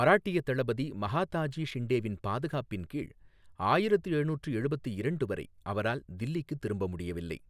மராட்டியத் தளபதி மகாதாஜி ஷிண்டேவின் பாதுகாப்பின் கீழ் ஆயிரத்து எழுநூற்று எழுபத்து இரண்டு வரை அவரால் தில்லிக்கு திரும்ப முடியவில்லை.